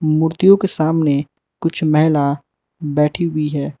मूर्तियों के सामने कुछ मैना बैठी हुई है।